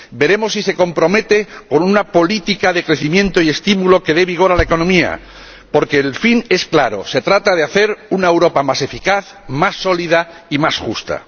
veremos si se compromete con una política de crecimiento y estímulo que dé vigor a la economía, porque el fin es claro se trata de hacer una Europa más eficaz, más sólida y más justa.